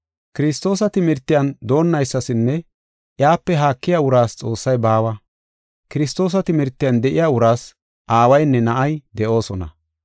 Kiristoosa timirtiyan doonnaysasinne iyape haakiya uraas Xoossay baawa. Kiristoosa timirtiyan de7iya uraas Aawaynne Na7ay de7oosona.